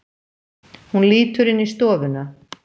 Hún lítur inn í stofuna.